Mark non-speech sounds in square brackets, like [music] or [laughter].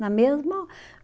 Na mesma [sighs]